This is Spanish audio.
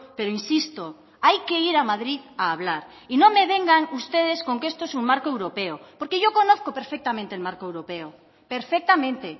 pero insisto hay que ir a madrid a hablar y no me vengan ustedes con que esto es un marco europeo porque yo conozco perfectamente el marco europeo perfectamente